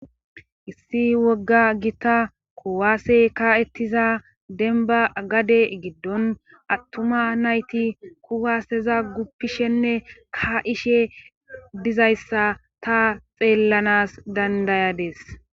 Issi wogga gita kowaasey ka'ettiza denba gade giddon attuma nayti kuwaaseza guppishenne ka'ishe dizayssa ta xeellanas dandayades.